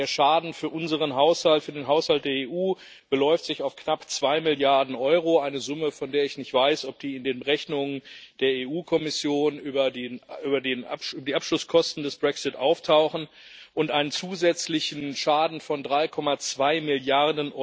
Der Schaden für unseren Haushalt für den Haushalt der EU beläuft sich auf knapp zwei Milliarden Euro, eine Summe, von der ich nicht weiß, ob sie in den Rechnungen der EU Kommission über die Abschlusskosten des Brexits auftaucht, und einen zusätzlichen Schaden von 3,2 Mrd.